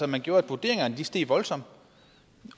man gjorde at vurderingerne steg voldsomt